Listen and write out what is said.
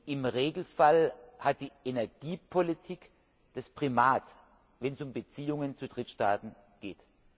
Im Regelfall hat die Energiepolitik das Primat, wenn es um Beziehungen zu Drittstaaten geht.